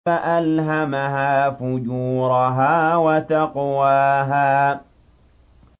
فَأَلْهَمَهَا فُجُورَهَا وَتَقْوَاهَا